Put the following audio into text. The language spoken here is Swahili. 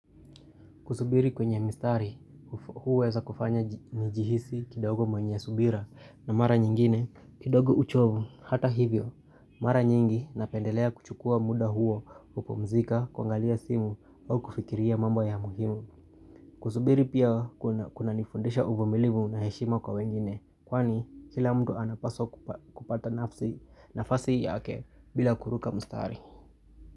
Kusubiri kwenye mstari, huweza kufanya ni nijihisi kidogo mwanyia subira na mara nyingine. Kidogo uchovu hata hivyo, mara nyingi napendelea kuchukua muda huo kupumzika kuangalia simu au kufikiria mambo ya muhimu. Kusubiri pia kuna kuna nifundisha uvumilimu na heshima kwa wengine, kwani kila mdy anapaswa ku kupata nafasi yake bila kuruka mstari.